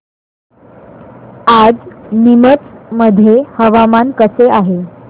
आज नीमच मध्ये हवामान कसे आहे